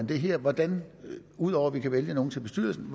det her hvordan man ud over at vi kan vælge nogle til bestyrelsen